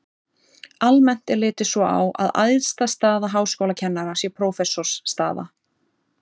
almennt er litið svo á að æðsta staða háskólakennara sé prófessorsstaða